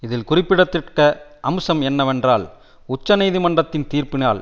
இதில் குறிப்பிடத்தக்க அம்சம் என்னவென்றால் உச்ச நீதிமன்றத்தின் தீர்ப்பினால்